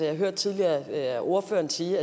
jeg hørte tidligere ordføreren sige